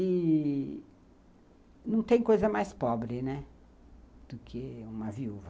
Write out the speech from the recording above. E não tem coisa mais pobre, né, do que uma viúva.